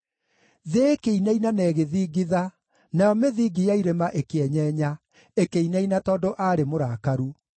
Thĩ ĩkĩinaina na ĩgĩthingitha, nayo mĩthingi ya irĩma ĩkĩenyenya; ĩkĩinaina tondũ aarĩ mũrakaru.